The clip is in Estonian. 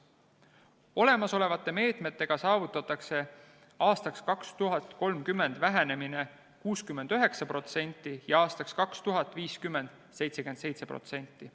Olemasolevate meetmetega saavutatakse 2030. aastaks vähenemine 69% ja 2050. aastaks 77%.